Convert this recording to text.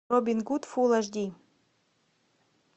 робин гуд фулл эйч ди